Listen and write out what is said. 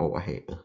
moh